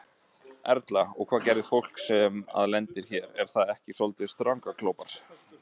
Erla: Og hvað gerir fólk sem að lendir hér, er það ekki soldið strandaglópar?